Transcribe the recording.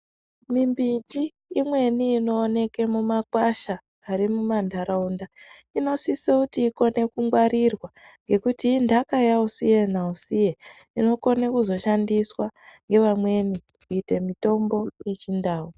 Mimbiti imweni inooke mumakwasha ari mumantaraunda inosise kuti ikone kungwarirwa ngekuti intaka yausiye nausiye inokone kuzoshandiswa ngevamweni kuite mitombo yechindau.